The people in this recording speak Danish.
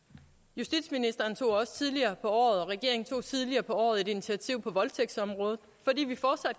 justitsministeren og regeringen tog også tidligere på året et initiativ på voldtægtsområdet fordi vi fortsat